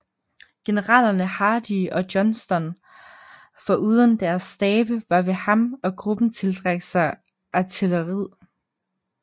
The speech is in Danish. Generalerne Hardee og Johnston foruden deres stabe var ved ham og gruppen tiltrak sig artilleriild